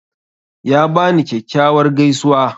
Ya bani kyakkyawar gaisuwa.